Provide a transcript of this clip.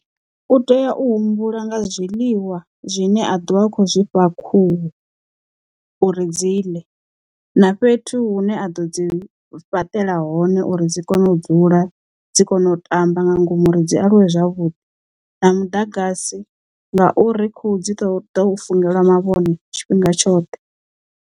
U tea u humbula nga zwiḽiwa zwine a ḓovha a khou zwifha khuhu uri dzi ḽe na fhethu hu ne a ḓo dzi fhaṱela hone uri dzi kone u dzula dzi kone u tamba nga ngomu ri dzi aluwe zwavhuḓi na muḓagasi ngauri khuhu dzi ṱo ḓo fungelwa mavhone tshifhinga tshoṱhe